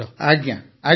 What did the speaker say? ଆଜ୍ଞା ଆଜ୍ଞା